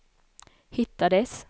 hittades